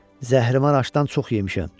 Zəhrimar aşdan çox yemişəm.